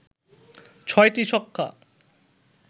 ৬টি ছক্কা